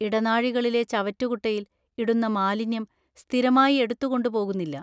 ഇടനാഴികളിലെ ചവറ്റുകുട്ടയിൽ ഇടുന്ന മാലിന്യം സ്ഥിരമായി എടുത്തുകൊണ്ട് പോകുന്നില്ല.